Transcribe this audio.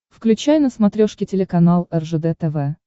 включай на смотрешке телеканал ржд тв